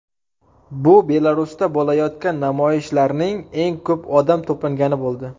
Bu Belarusda bo‘layotgan namoyishlarning eng ko‘p odam to‘plangani bo‘ldi.